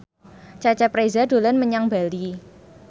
Cecep Reza dolan menyang Bali